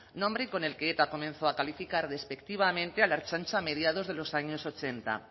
nombre con el que eta comenzó a calificar despectivamente a la ertzaintza a mediados de los años ochenta